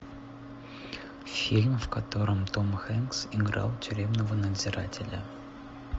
фильм в котором том хэнкс играл тюремного надзирателя